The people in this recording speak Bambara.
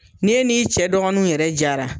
Ni e n'i cɛ dɔgɔninw yɛrɛ jaara.